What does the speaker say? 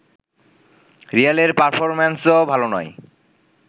রিয়ালের পারফরম্যান্সও ভালো নয়